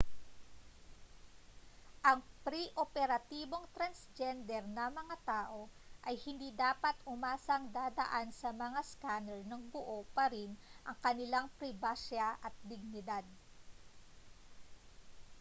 ang pre-operatibong transgender na mga tao ay hindi dapat umasang dadaan sa mga scanner nang buo pa rin ang kanilang pribasya at dignidad